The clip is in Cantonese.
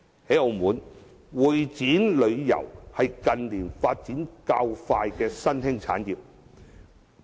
在澳門，會展旅遊是近年發展較快的新興產業。